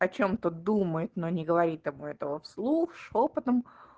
о чём-то думает но не говорит ему этого вслух шёпотом